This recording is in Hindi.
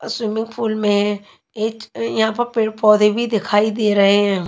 और स्विमिंग पूल में एक यहां पर पेड़ पौधे भी दिखाई दे रहे है यहां।